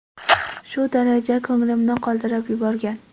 Shu darajada ko‘nglimni qoldirib yuborgan.